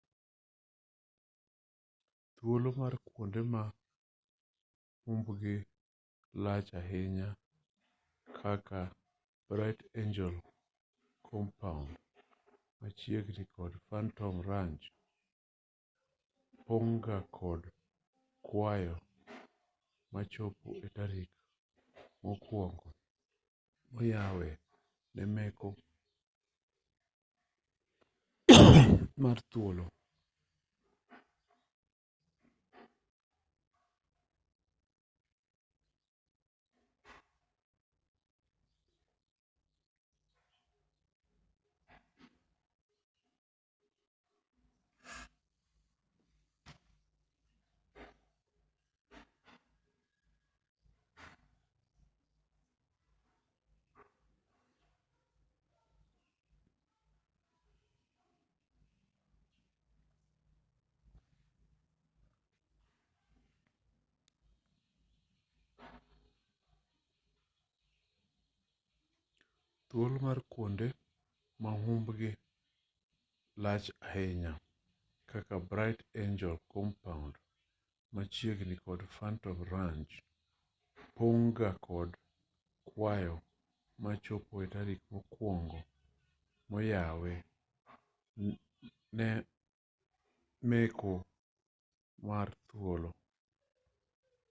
thuolo mar kuonde ma humbgi lach ahinya kaka bright angel campground machiegni kod phantom ranch pong' ga kod kwayo machopo e tarik mokuongo moyawe ne meko mar thuolo